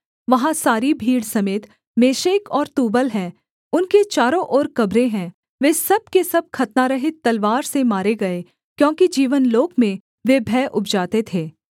वहाँ सारी भीड़ समेत मेशेक और तूबल हैं उनके चारों ओर कब्रें हैं वे सब के सब खतनारहित तलवार से मारे गए क्योंकि जीवनलोक में वे भय उपजाते थे